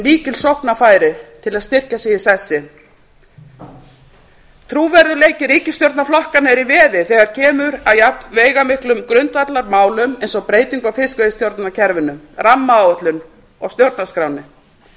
mikil sóknarfæri til að styrkja sig í sessi trúverðugleiki ríkisstjórnarflokkanna er í veði þegar kemur að jafnveigamiklum grundvallarmálum eins og breytingu á fiskveiðistjórnarkerfinu rammaáætlun og stjórnarskránni